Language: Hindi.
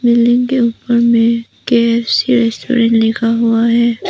बिल्डिंग के ऊपर में के_एफ_सी रेस्टोरेंट लिखा हुआ है।